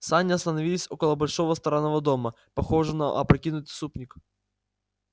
сани остановились около большого странного дома похожего на опрокинутый супник